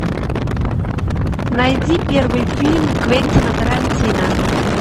найди первый фильм квентина тарантино